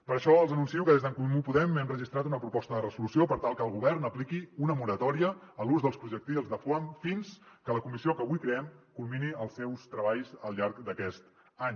per això els anuncio que des d’en comú podem hem registrat una proposta de resolució per tal que el govern apliqui una moratòria a l’ús dels projectils de foam fins que la comissió que avui creem culmini els seus treballs al llarg d’aquest any